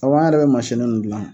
Awɔ an yɛrɛ bɛ mansini ninnu gilan.